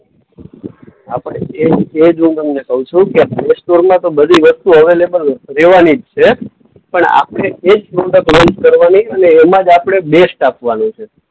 આપણે એજ એજ હું તમને કઉ છું કે પ્લેસ્ટોરમાં તો બધી વસ્તુઓ અવેલેબલ રહેવાની જ છે. પણ આપણે એજ પ્રોડક્ટ લોન્ચ કરવાની અને એમાં જ આપણે બેસ્ટ આપવાનું છે.